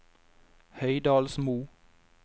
Høydalsmo